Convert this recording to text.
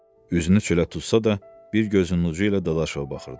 Üzünü çölə tutsa da, bir gözünün ucu ilə Dadaşova baxırdı.